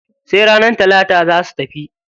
Sai ranar talata za su tafi.